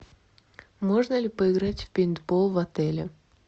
можно ли поиграть в пейнтбол в отеле